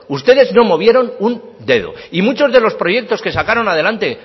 ustedes no movieron un dedo y muchos de los proyectos que sacaron adelante